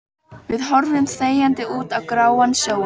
Við horfum þegjandi út á gráan sjó.